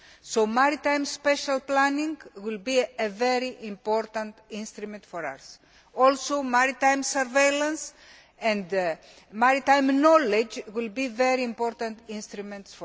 So, maritime special planning will be a very important instrument for us, and maritime surveillance and maritime knowledge will also be very important instruments.